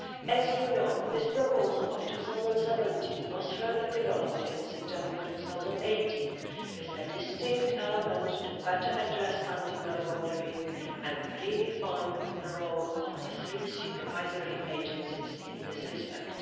As you know, this proposal of 2017 was further developed in September 2018 with a distinct element to better address anti money laundering and redefine the role of the three supervisory agencies in this respect.